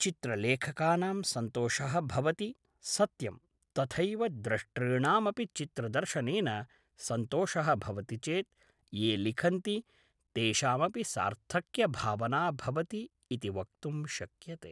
चित्रलेखकानां सन्तोषः भवति सत्यं तथैव द्रष्टॄणामपि चित्रदर्शनेन सन्तोषः भवति चेत् ये लिखन्ति तेषामपि सार्थक्यभावना भवति इति वक्तुं शक्यते